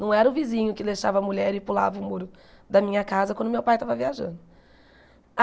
Não era o vizinho que deixava a mulher e pulava o muro da minha casa quando meu pai estava viajando.